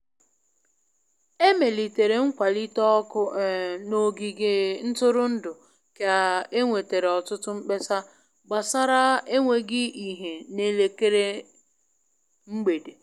E melitere nkwalite ọkụ um n'ogige ntụrụndụ ka e nwetara ọtụtụ mkpesa gbasara enweghị ìhè n'elekere mgbede.